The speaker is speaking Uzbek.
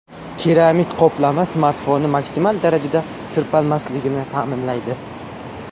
Keramik qoplama smartfonni maksimal darajada sirpanmasligini ta’minlaydi.